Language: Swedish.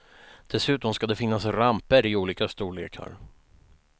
Dessutom ska det finnas ramper i olika storlekar.